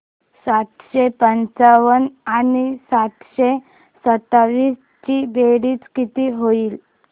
सातशे पंचावन्न आणि सातशे सत्तावीस ची बेरीज किती होईल